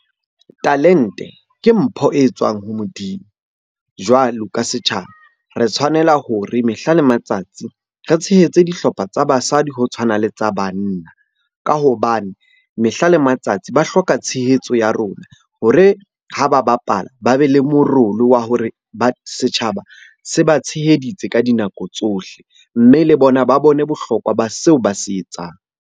Talente ke mpho e tswang ho Modimo. Jwalo ka setjhaba re tshwanela hore mehla le matsatsi re tshehetse dihlopha tsa basadi ho tshwana le tsa banna. Ka hobane mehla le matsatsi ba hloka tshehetso ya rona hore ha ba bapala ba be le morolo wa hore setjhaba se ba tsheheditse ka dinako tsohle. Mme le bona ba bone bohlokwa ba seo ba se etsang.